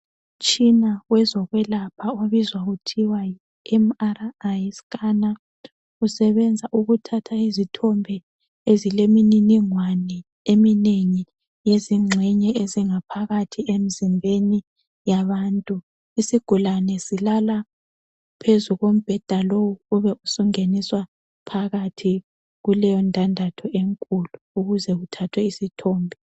Umtshina wozokwelapha obizwa kuthiwa yi MRi scanner, usebenza ukuthatha izithombe ezilemininingwane eminengi yezingxenye ezingaphakathi emzimbeni yabantu. Isigulane silala phezu kombheda lowu ube usungeniswa phakathi kuleyo ndandatho enkulu ukuze kuthathwe isithombe.